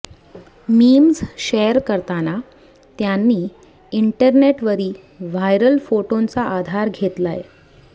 memes share करताना त्यांनी इंटरनेटवरी व्हायरल फोटोंचा आधार घेतलाय